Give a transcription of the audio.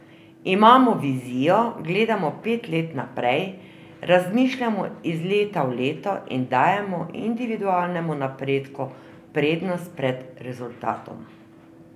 Imamo vizijo, gledamo pet let naprej, razmišljamo iz leta v leto in dajemo individualnemu napredku prednost pred rezultatom.